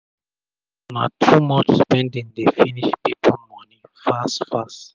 um na too much spending dey finish pipu moni fast fast